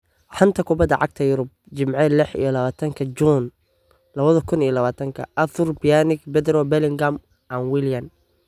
Xanta Kubadda Cagta Yurub Jimce lix iyo labatanki juunyo laba kuun iyo labatanki: Arthur, Pjanic, Pedro, Bellingham, Willian